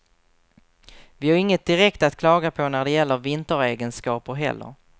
Vi har inget direkt att klaga på när det gäller vinteregenskaper heller.